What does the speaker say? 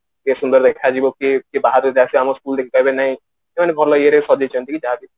ଟିକେ ସୁନ୍ଦର ଦେଖାଯିବ କି କିଏ ବାହାରୁ ଯଦି ଆସିବେ ଆମ school ଦେଖି କହିବେ ନାଇଁ ସେମାନେ ଭଲ ଇଏରେ ସଜେଇଛନ୍ତି